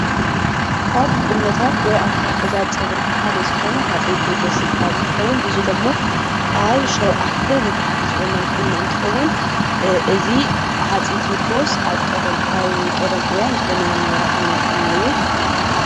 ካብ ቁነታት ወይ ኣታሓሕዛ ፀጉሪ ሓደ ዝኾነ ሃፀይ ቴድሮስ ዝባሃል እትከውን እዚ ዶሞ ኣብ ሸውዓተ ንታሕቲ ዝቁነን ቁኖ እንትኸውን እዚ ሃፀይ ቴድሮስ ኣብ ቀደም እዋን ዝቁነኖ ነበረ ዓይነት ቁኖ እዩ።